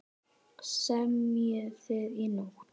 Semjið þið í nótt?